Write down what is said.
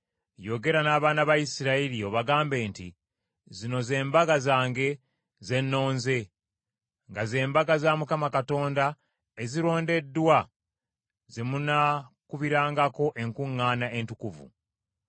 “Yogera n’abaana ba Isirayiri obagambe nti, Zino ze mbaga zange ze nnonze, nga ze mbaga za Mukama Katonda ezirondeddwa ze munaakubirangako enkuŋŋaana entukuvu.